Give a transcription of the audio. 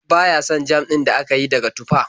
Ba ya son jam din da aka yi daga tufah.